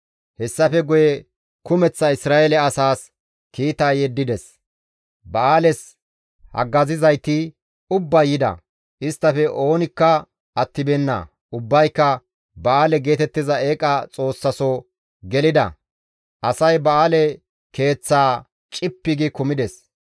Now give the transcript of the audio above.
Hessafe guye kumeththa Isra7eele asaas kiita yeddides; ba7aales haggazizayti ubbay yida; isttafe oonikka attibeenna; ubbayka ba7aale geetettiza eeqa xoossaso gelida; asay ba7aale keeththaa cippi gi kumides.